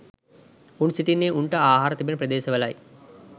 උන් සිටින්නේ උන්ට ආහාර තිබෙන ප්‍රදේශ වලයි.